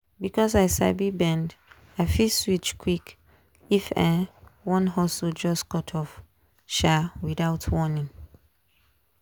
because i sabi bend i fit switch quick if um one hustle just cut off um without warning.